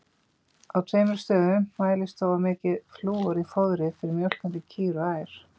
Á tveimur stöðum mælist þó of mikið flúor í fóðri fyrir mjólkandi kýr og ær.